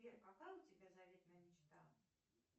сбер какая у тебя заветная мечта